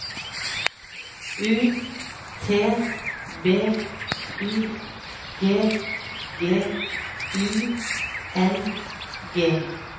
U T B Y G G I N G